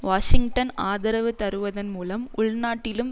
Washington ஆதரவு தருவதன் மூலம் உள்நாட்டிலும்